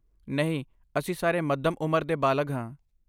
ਨਹੀਂ, ਅਸੀਂ ਸਾਰੇ ਮੱਧਮ ਉਮਰ ਦੇ ਬਾਲਗ ਹਾਂ